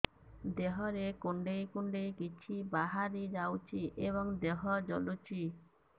ଦେହରେ କୁଣ୍ଡେଇ କୁଣ୍ଡେଇ କିଛି ବାହାରି ଯାଉଛି ଏବଂ ଦେହ ଜଳୁଛି